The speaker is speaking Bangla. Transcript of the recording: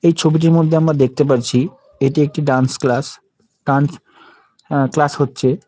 এই ছবিটির মধ্যে আমরা দেখতে পারছি এটি একটি dance class. Dance uh class হচ্ছে।